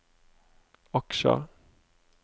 aksjer